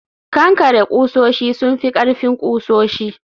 kankare kusoshi sun fi ƙarfin kusoshi